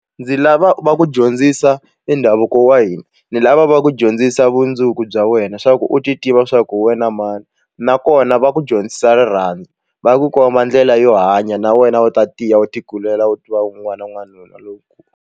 Ndzi lava va ku dyondzisa i ndhavuko wa hina ni lava va ku dyondzisa bya wena swa ku u ti tiva swa ku wena mani nakona va ku dyondzisa rirhandzu va ku komba ndlela yo hanya na wena u ta tiya u ti kulela u tiva wun'wana wa n'wanuna lowukulu.